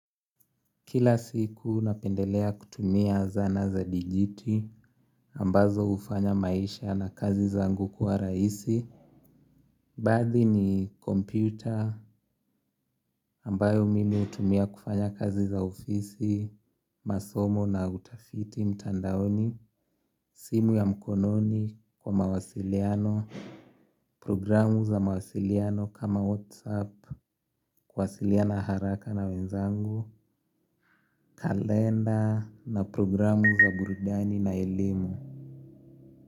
Kila siku napendelea kutumia zana za dijiti ambazo hufanya maisha na kazi zangu kuwa rahisi. Baadhi ni computer ambayo mimi hutumia kufanya kazi za ofisi masomo na utafiti mtandaoni. Simu ya mkononi kwa mawasiliano. Programu za mawasiliano kama whatsapp. Kuwasiliana haraka na wenzangu. Kalenda na programu za burudani na elimu.